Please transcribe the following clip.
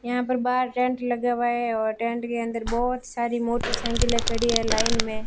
यहां पर बाहर टेंट लगा हुआ है और टेंट के अंदर बहोत सारी मोटरसाइकिले खड़ी है लाइन मे।